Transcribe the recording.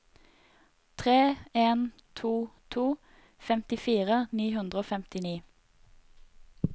tre en to to femtifire ni hundre og femtini